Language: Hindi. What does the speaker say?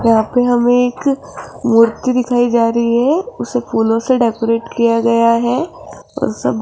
यहां पे हमे एक मूर्ति दिखाई जा रही है उसे फूलों से डेकोरेट किया गया है और सब --